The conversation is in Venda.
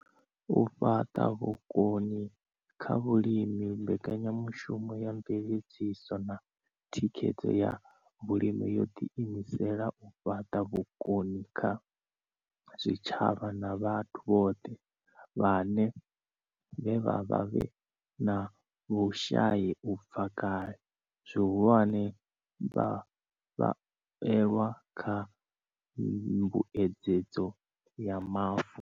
U fhaṱa vhukoni kha vhalimi Mbekanya mushumo ya Mveledziso na Thikhedzo ya Vhalimi yo ḓiimisela u fhaṱa vhukoni kha zwitshavha na vhathu vhone vhaṋe vhe vha vha vhe na vhushai u bva kale, zwihulwane, vhavhuelwa kha Mbuedzedzo ya Mavu.